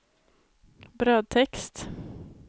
brödtext